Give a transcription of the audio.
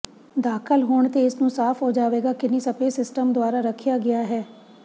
ਦਾਖਲ ਹੋਣ ਤੇ ਇਸ ਨੂੰ ਸਾਫ ਹੋ ਜਾਵੇਗਾ ਕਿੰਨੀ ਸਪੇਸ ਸਿਸਟਮ ਦੁਆਰਾ ਰੱਖਿਆ ਗਿਆ ਹੈ